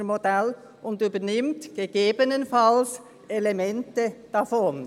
] das Bündnermodell und übernimmt ggf. Elemente davon.